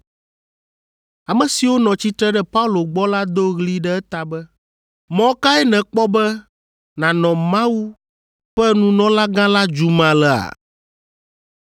Ame siwo nɔ tsitre ɖe Paulo gbɔ la do ɣli ɖe eta be, “Mɔ kae nèkpɔ be nànɔ Mawu ƒe nunɔlagã la dzum alea?”